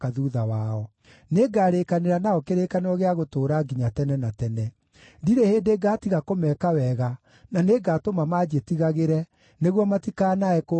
Nĩngarĩĩkanĩra nao kĩrĩkanĩro gĩa gũtũũra nginya tene na tene: Ndirĩ hĩndĩ ngaatiga kũmeka wega, na nĩngatũma manjĩtigagĩre, nĩguo matikanae kũũhutatĩra.